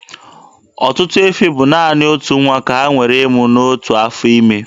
Ọtụtụ efi bụ naanị otu nwa ka ha nwere ịmụ n'otu afọ ime.